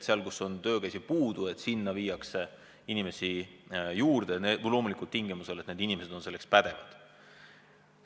Sinna, kus on töökäsi puudu, pannakse inimesi juurde, loomulikult tingimusel, et need inimesed on selleks tööks pädevad.